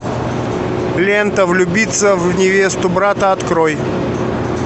лента влюбиться в невесту брата открой